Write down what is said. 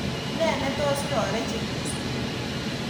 Ne netos irorechi mising